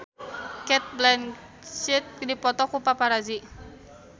Cate Blanchett dipoto ku paparazi